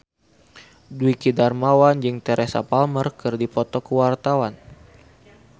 Dwiki Darmawan jeung Teresa Palmer keur dipoto ku wartawan